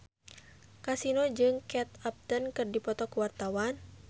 Kasino jeung Kate Upton keur dipoto ku wartawan